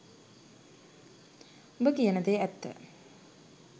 උඹ කියන දේ ඇත්ත